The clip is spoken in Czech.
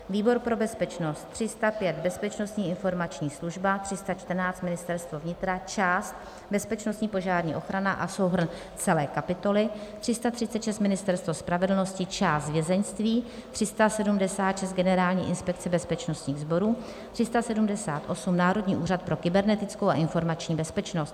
výbor pro bezpečnost: 305 - Bezpečnostní informační služba, 314 - Ministerstvo vnitra, část Bezpečnostní požární ochrana a souhrn celé kapitoly, 336 - Ministerstvo spravedlnosti, část vězeňství, 376 - Generální inspekce bezpečnostních sborů, 378 - Národní úřad pro kybernetickou a informační bezpečnost,